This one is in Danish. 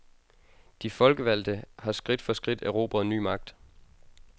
De folkevalgte har skridt for skridt erobret ny magt.